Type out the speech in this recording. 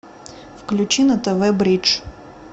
включи на тв бридж